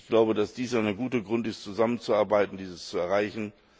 Ich glaube, dass dies ein guter Grund ist zusammenzuarbeiten, um dies zu erreichen.